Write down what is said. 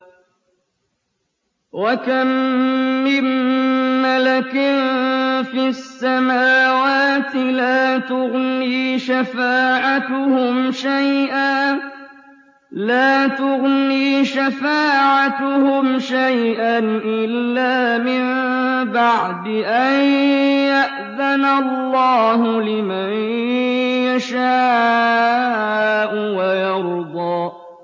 ۞ وَكَم مِّن مَّلَكٍ فِي السَّمَاوَاتِ لَا تُغْنِي شَفَاعَتُهُمْ شَيْئًا إِلَّا مِن بَعْدِ أَن يَأْذَنَ اللَّهُ لِمَن يَشَاءُ وَيَرْضَىٰ